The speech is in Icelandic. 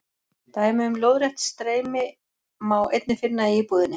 Dæmi um lóðrétt streymi má einnig finna í íbúðinni.